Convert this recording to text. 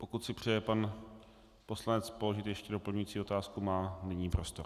Pokud si přeje pan poslanec položit ještě doplňující otázku, má nyní prostor.